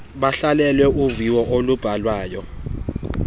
bahlalele uviwo olubhalwayo